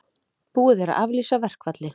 Búið er að aflýsa verkfalli